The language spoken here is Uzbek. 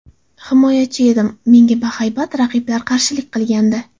Himoyachi edim, menga bahaybat raqiblar qarshilik qilgandi.